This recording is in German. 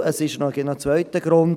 Es gibt noch einen zweiten Grund: